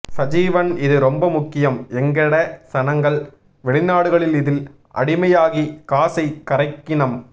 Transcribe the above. சஜீவன் இது ரொம்ப முக்கியம் எங்கட சனங்கள் வெளிநாடுகளில் இதில் அடிமையாகி காசை கரைக்கினம்